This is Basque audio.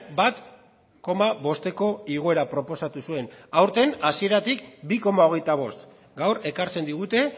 bat koma bosteko igoera proposatu zuen aurten hasieratik bi koma hogeita bost gaur ekartzen digute